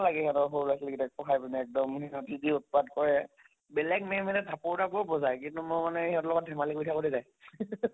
লাগে আৰু সৰু লʼৰা ছোৱালী গিটাক পঢ়াই পিনে এক্দম হিহঁতি যি উৎপাত কৰে, বেলেগ ma'am থাপ্পৰ তাপ্পৰো বজায় কিন্তু মই মানে হিহঁতৰ লগত ধেমালি কৰি থাকোতে যায়